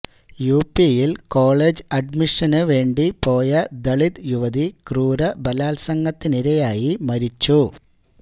യുപിയില് college അഡ്മിഷന് വേണ്ടി പോയ ദളിത് യുവതി ക്രൂര ബലാത്സംഗത്തിനിരയായി മരിച്ചു